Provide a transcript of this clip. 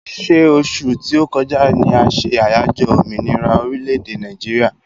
Ṣé osù tí o kọjá ni a se àyájọ́ òmìnira orílè-èdè Nàìjíríà?